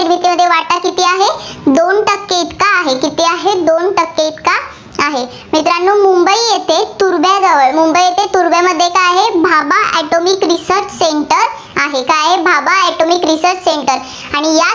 किती आहे, दोन टक्के इतका आहे. मित्रांनो मुंबई य़ेथे तुर्भ्याजवळ, मुंबई येथे तुर्भ्यामध्ये काय आहे, भाभा अॅटोमिक रिसर्च सेंटर आहे. काय आहे भाभा अॅटोमिक रिसर्च सेंटर आणि